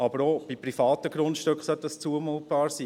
Aber auch bei privaten Grundstücken sollte das zumutbar sein.